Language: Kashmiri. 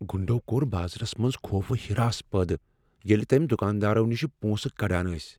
گُنڈو کوٚر بازرس منٛز خوف و ہراس پٲدٕ ییٚلہ تٔمۍ دکاندارو نشہ پونٛسہٕ کڈان ٲسۍ۔